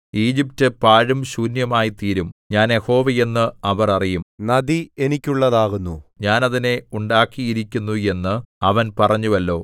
Egypt പാഴും ശൂന്യവുമായിത്തീരും ഞാൻ യഹോവ എന്ന് അവർ അറിയും നദി എനിക്കുള്ളതാകുന്നു ഞാൻ അതിനെ ഉണ്ടാക്കിയിരിക്കുന്നു എന്ന് അവൻ പറഞ്ഞുവല്ലോ